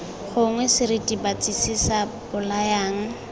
gongwe seritibatsi se se bolayang